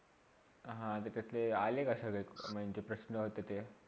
आह ते कसले आले काय सगळे म्हणजे प्रशन होते ते.